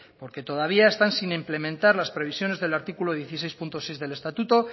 porque todavía están sin implementar las previsiones del artículo dieciséis punto seis del estatuto